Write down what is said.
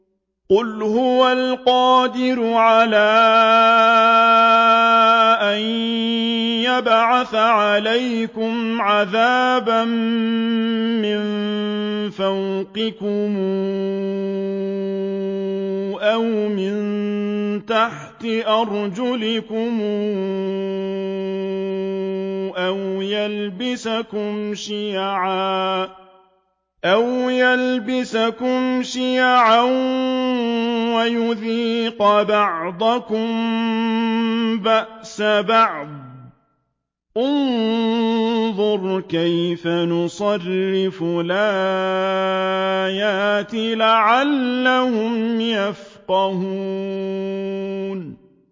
قُلْ هُوَ الْقَادِرُ عَلَىٰ أَن يَبْعَثَ عَلَيْكُمْ عَذَابًا مِّن فَوْقِكُمْ أَوْ مِن تَحْتِ أَرْجُلِكُمْ أَوْ يَلْبِسَكُمْ شِيَعًا وَيُذِيقَ بَعْضَكُم بَأْسَ بَعْضٍ ۗ انظُرْ كَيْفَ نُصَرِّفُ الْآيَاتِ لَعَلَّهُمْ يَفْقَهُونَ